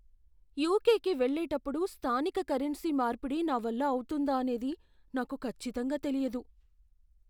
యుకేకి వెళ్ళేటప్పుడు స్థానిక కరెన్సీ మార్పిడి నా వల్ల అవుతుందా అనేది నాకు ఖచ్చితంగా తెలియదు.